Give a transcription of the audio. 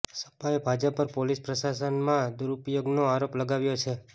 સપાએ ભાજપ પર પોલીસ પ્રશાસનના દુરઉપયોગનો આરોપ લગાવ્યો છે